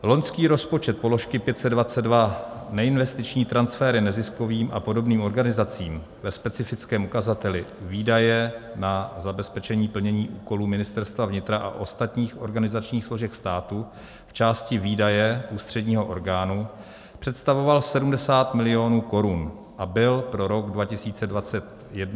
Loňský rozpočet položky 522 neinvestiční transfery neziskovým a podobným organizacím ve specifickém ukazateli výdaje na zabezpečení plnění úkolů Ministerstva vnitra a ostatních organizačních složek státu v části výdaje ústředního orgánu představoval 70 milionů korun a byl pro rok 2021 navýšen o 86 milionů 440 tisíc korun.